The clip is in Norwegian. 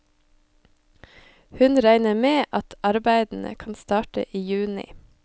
Hun regner med at arbeidene kan starte i juni.